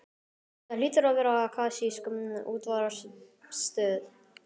Þetta hlýtur að vera klassísk útvarpsstöð.